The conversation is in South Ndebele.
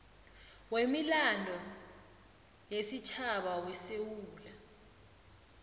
wemilando yesitjhaba wesewula